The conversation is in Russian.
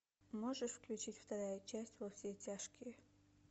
можешь включить вторая часть во все тяжкие